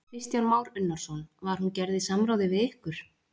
Kristján Már Unnarsson: Var hún gerð í samráði við ykkur?